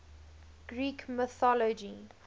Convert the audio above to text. greek mythology